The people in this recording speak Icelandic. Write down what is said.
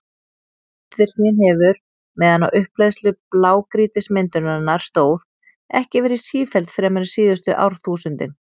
Eldvirknin hefur, meðan á upphleðslu blágrýtismyndunarinnar stóð, ekki verið sífelld fremur en síðustu árþúsundin.